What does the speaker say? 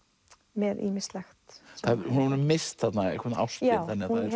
með ýmislegt hún hefur misst þarna einhvern ástvin já